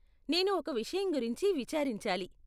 నేను ఒక విషయం గురించి విచారించాలి.